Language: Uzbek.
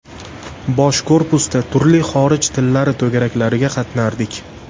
Bosh korpusda turli xorij tillari to‘garaklariga qatnardik.